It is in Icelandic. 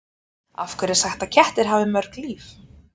Af hverju er sagt að kettir hafi mörg líf?